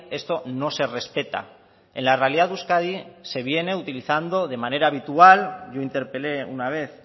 esto no se respeta en la realidad de euskadi se viene utilizando de manera habitual yo interpelé una vez